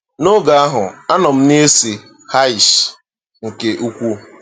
N’oge ahụ, anọ m na-ese nke ukwuu.